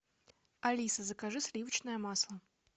алиса закажи сливочное масло